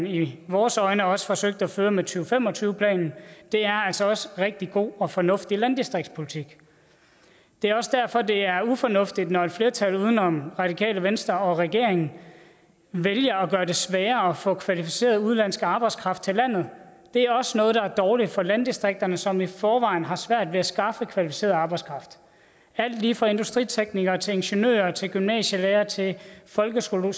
i vores øjne også forsøgte at føre med to fem og tyve planen er også også rigtig god og fornuftig landdistriktspolitik det er også derfor det er ufornuftigt når et flertal uden om radikale venstre og regeringen vælger at gøre det sværere at få kvalificeret udenlandsk arbejdskraft til landet det er også noget der er dårligt for landdistrikterne som i forvejen har svært ved at skaffe kvalificeret arbejdskraft alt lige fra industriteknikere til ingeniører til gymnasielærere til folkeskolelærere